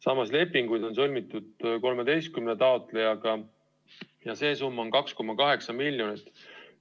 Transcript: Samas lepingud on sõlmitud 13 taotlejaga ja see summa on kokku 2,8 miljonit eurot.